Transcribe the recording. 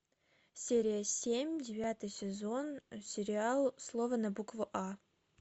серия семь девятый сезон сериал слово на букву а